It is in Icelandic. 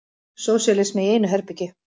Sósíalismi í einu herbergi.